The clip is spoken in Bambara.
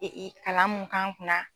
kalan mun k'an kunna